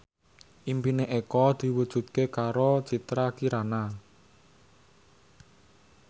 impine Eko diwujudke karo Citra Kirana